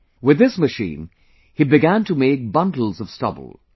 With this machine, he began to make bundles of stubble